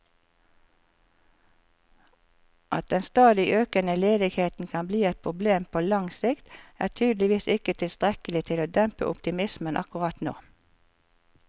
At den stadig økende ledigheten kan bli et problem på lang sikt, er tydeligvis ikke tilstrekkelig til å dempe optimismen akkurat nå.